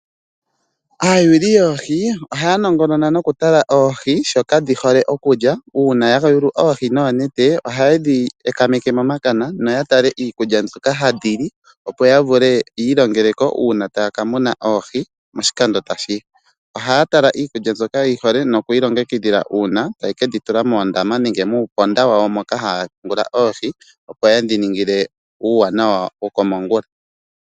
Aayuli yoohii ohanongonona nokutala oohii shoka dhihole okulya, uuna hayayulu oohoo noonete ohayedhi ekameke momakana noyatale iikulya mbyoka hadhili opo yavule yilongeleko una takamuna oohii moshikando tashiya. Ohatala iikulya mbyoka dhihole nokudhi longekidhila una tayekedhitula muundama wawo moka nenge mupona wawo moka hapungula oohii opo yedhiningile uwanawa wokomangula.